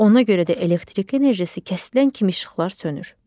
Ona görə də elektrik enerjisi kəsilən kimi işıqlar sönür.